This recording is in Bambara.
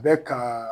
Bɛ ka